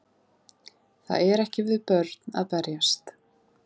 Það er ekki við börn að berjast